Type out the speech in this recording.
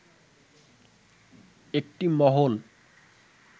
একটি মহল